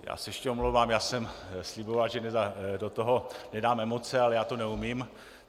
Já se ještě omlouvám, já jsem sliboval, že do toho nedám emoce, ale já to neumím.